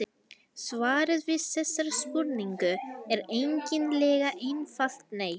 Svarið við þessari spurningu er eiginlega einfalt nei.